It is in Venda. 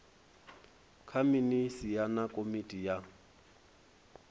nga minisia na komiti ya